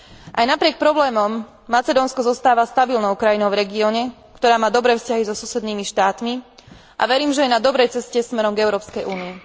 Aj napriek problémom Macedónsko zostáva stabilnou krajinou v regióne, ktorá má dobré vzťahy so susednými štátmi, a verím, že je na dobrej ceste smerom k Európskej únii.